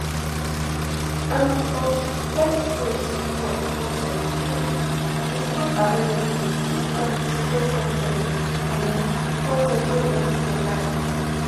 end of x post four con ten t um is not available dis article contain um con ten t wey x provide